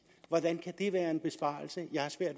hvordan kan det være en besparelse